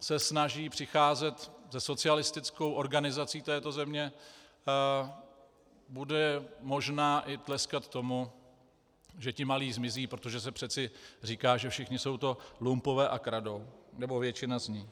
se snaží přicházet se socialistickou organizací této země, bude možná i tleskat tomu, že ti malí zmizí, protože se přece říká, že všichni jsou to lumpové a kradou, nebo většina z nich.